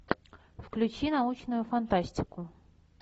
включи научную фантастику